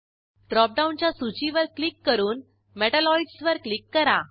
ड्रॉपडाऊनच्या सूचीवर क्लिक करून मेटॅलॉइड्स वर क्लिक करा